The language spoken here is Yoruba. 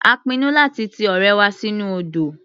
A pinnu láti ti ọ̀rẹ́ wa sínú odò.